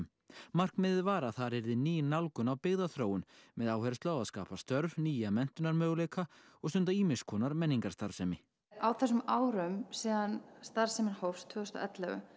markmiðið var að þar yrði ný nálgun á byggðaþróun með áherslu á að skapa störf nýja menntunarmöguleika og stunda ýmiss konar menningarstarfsemi á þessum árum síðan starfsemin hófst tvö þúsund og ellefu